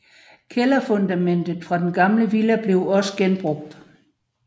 Kælderfundamentet fra den gamle villa blev også genbrugt